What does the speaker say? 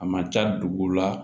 A man ca dugu la